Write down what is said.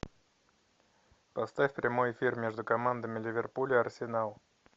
поставь прямой эфир между командами ливерпуль и арсенал